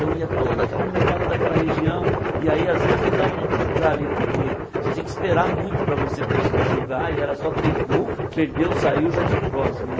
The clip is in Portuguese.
Então ia toda aquela molecada daquela região e aí às vezes não dava nem para jogar ali, porque você tinha que esperar muito para você conseguir jogar e era só três gols, perdeu, saiu, já tinha o próximo, né.